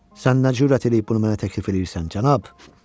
Sən nə cür ad eləyib bunu mənə təklif eləyirsən, cənab?